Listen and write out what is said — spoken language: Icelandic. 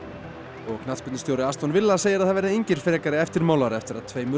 og knattspyrnustjóri villa segir að það verði engin frekari eftirmál eftir að tveimur